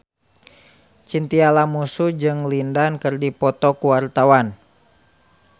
Chintya Lamusu jeung Lin Dan keur dipoto ku wartawan